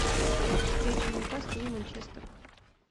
встреча ньюкасл и манчестер